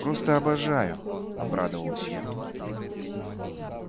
просто обожаю обрадовалась я